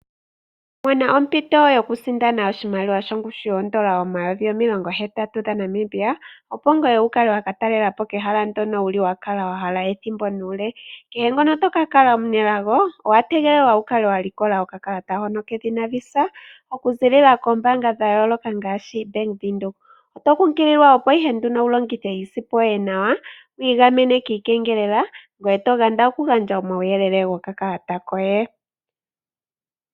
Mona ompito yokusindana omayovi N$80 000, opo wu kale wa ka talela po kehala ndyoka wa kala wa hala ethimbo nuule. Kehe ngoka to ka kala omunelago owa tegelelwa wu kale wa likola okakala hono kedhina Visa okuziilila koombaanga dha yooloka ngaashi Bank Windhoek. Oto kumagidhwa opo wu longithe iisimpo yoye nawa ngoye to ganda okugandja omauyelele gokakalata koye.